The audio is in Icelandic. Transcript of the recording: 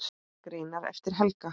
Greinar eftir Helga